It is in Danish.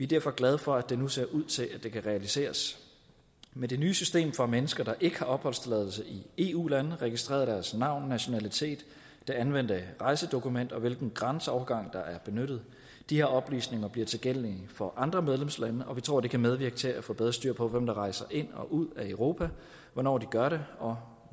derfor glade for at det nu ser ud til at det kan realiseres med det nye system for mennesker der ikke har opholdstilladelse i eu landene registreres deres navn nationalitet det anvendte rejsedokument og hvilken grænseovergang der er benyttet de oplysninger bliver tilgængelige for andre medlemslande og vi tror det kan medvirke til at få bedre styr på hvem der rejser ind og ud af europa hvornår de gør det og